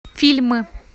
фильмы